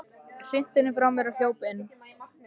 Hrinti henni frá mér og hljóp inn.